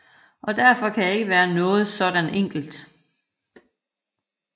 Og derfor kan jeg ikke være noget saadant enkelt